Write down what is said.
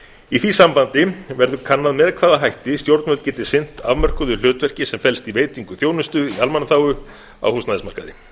í því sambandi verður kannað með hvaða hætti stjórnvöld geti sinnt afmörkuðu hlutverki sem felst í veitingu þjónustu í almannaþágu á húsnæðismarkaði